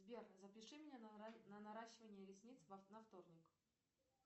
сбер запиши меня на наращивание ресниц на вторник